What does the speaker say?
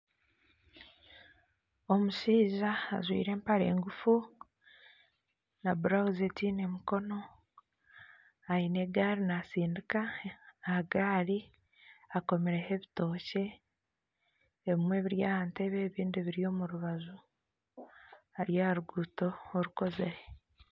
Omushaija ajwire empare ngufu na burawuzi etaine mukono aine egaari naatsindika aha gaari akomireho ebitookye ebimwe biri aha ntebe ebindi biri omu rubaju ari aha ruguuto orukozire